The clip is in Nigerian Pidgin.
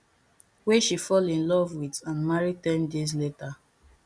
wey she fall in love with and marry ten days later